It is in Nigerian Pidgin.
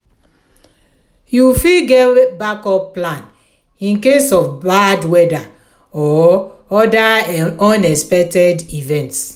you fit get backup plan in case of bad weather or other unexpected events.